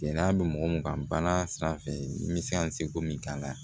Gɛlɛya bɛ mɔgɔ min kan bana sanfɛ n bɛ se ka se ko min k'a la